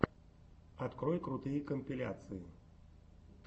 открой крутые компиляции